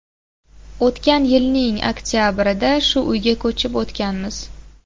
O‘tgan yilning oktabrida shu uyga ko‘chib o‘tganmiz.